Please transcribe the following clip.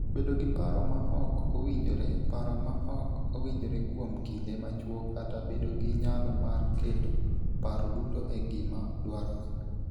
Bedo gi paro ma ok owinjore (paro ma ok owinjore kuom kinde machuok kata bedo gi nyalo mar keto paro duto e gima dwarore).